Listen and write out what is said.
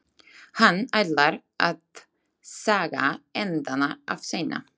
Hann ætlar að saga endana af seinna.